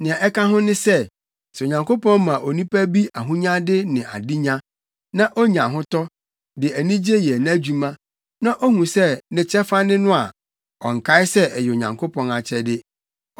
Nea ɛka ho ne sɛ, sɛ Onyankopɔn ma onipa bi ahonyade ne adenya, na onya ahotɔ, de anigye yɛ nʼadwuma, na ohu sɛ ne kyɛfa ne no a, ɔnkae sɛ ɛyɛ Onyankopɔn akyɛde.